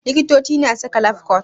Likitoci suna saka lafcot.